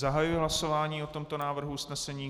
Zahajuji hlasování o tomto návrhu usnesení.